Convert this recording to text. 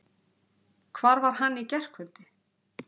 Hvar var hann í gærkvöld?